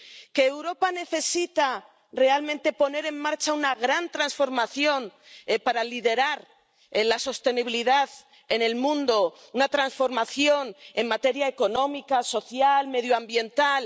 Que Europa necesita realmente poner en marcha una gran transformación para liderar la sostenibilidad en el mundo, una transformación en materia económica, social, medioambiental.